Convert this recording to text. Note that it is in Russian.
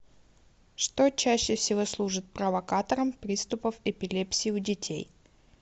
что чаще всего служит провокатором приступов эпилепсии у детей